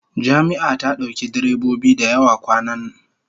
Jami'a ta dauki direbobi da yawa kwanan